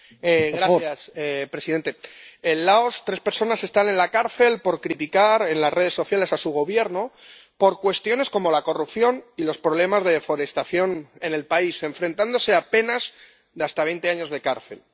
Señor presidente, en Laos, tres personas están en la cárcel por criticar en las redes sociales a su Gobierno por cuestiones como la corrupción y los problemas de deforestación en el país, y se enfrentan a penas de hasta veinte años de cárcel.